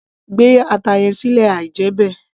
gbé ata yẹn sílẹ̀ àí jẹ́ bẹ́ẹ̀